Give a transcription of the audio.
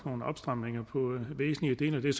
nogle opstramninger på væsentlige dele af det